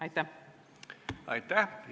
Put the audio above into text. Aitäh!